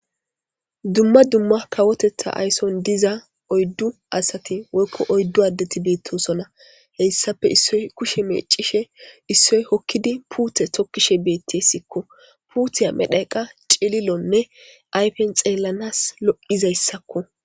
Dumma dumma kawoteththan diza oyddu adet bettosona hessappe issoy kushshe mecishshe des issoy hokid pute tokishshe beettes uththey medhdhoykka keh lo"es